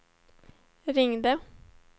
ringde